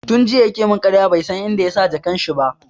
Tun jiya ya ke mun ƙaryan bai san inda yasa jakan shi ba